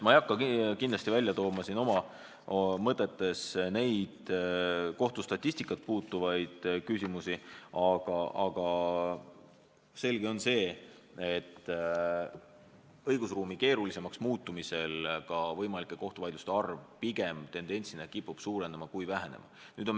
Ma ei hakka välja tooma kohtustatistikat puudutavaid küsimusi, aga selge on see, et õigusruumi keerulisemaks muutumisel ka võimalike kohtuvaidluste arv kipub tendentsina pigem suurenema kui vähenema.